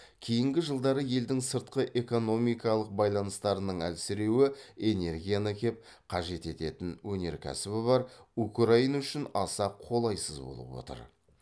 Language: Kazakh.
кейінгі жылдары елдің сыртқы экономикалық байланыстарының әлсіреуі энергияны кеп қажет ететін өнеркәсібі бар украина үшін аса қолайсыз болып отыр